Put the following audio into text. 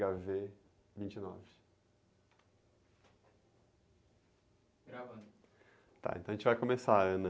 agá-vê vinte e nove.ravando.á, então a gente vai começar.